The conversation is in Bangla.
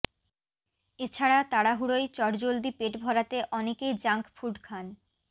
এছাড়া তাড়াহুড়োয় চটজলদি পেট ভরাতে অনেকেই জাঙ্ক ফুড খান